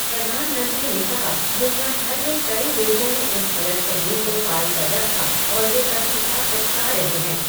प्रधानमंत्री ने कहा, दुनिया भर में, कई लोगों ने इस गलतफहमी को पालकर रखा और वे सभी अब पछता रहे हैं।